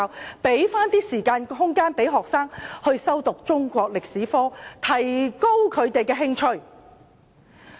我認為應騰出時間和空間讓學生修讀中史科，提高他們的興趣。